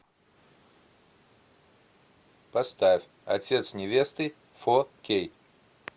поставь отец невесты фо кей